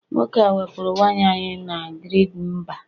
nwoke a wepuru waya anyị na grid mba